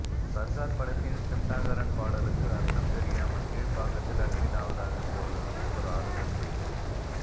சர்கார் படத்தின் சிம்டாங்காரன் பாடலுக்கு அர்த்தம் தெரியாமல் கீழ்ப்பாக்கத்தில் அட்மிட் ஆவதாக இருந்தவர்களுக்கு ஒரு ஆறுதல் செய்தி